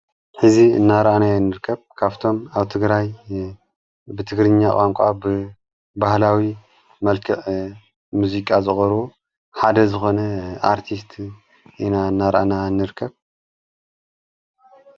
ሕዚ እናርኣና ያ ንርከብ ካፍቶም ኣብ ትግራይ ብትግርኛ ቋንቋ ብበህላዊ መልክዕ ሙዚቃ ዘቑሩቡ ሓደ ዝኾነ ኣርቲስት ኢና እናርኣና እንርከብ